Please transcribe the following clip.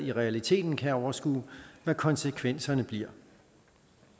i realiteten kan overskue hvad konsekvenserne bliver